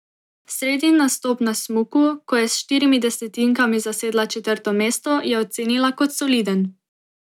Sredin nastop na smuku, ko je s štirimi desetinkami zasedla četrto mesto, je ocenila kot soliden.